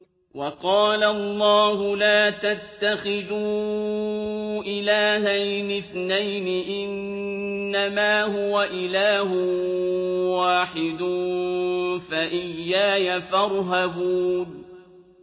۞ وَقَالَ اللَّهُ لَا تَتَّخِذُوا إِلَٰهَيْنِ اثْنَيْنِ ۖ إِنَّمَا هُوَ إِلَٰهٌ وَاحِدٌ ۖ فَإِيَّايَ فَارْهَبُونِ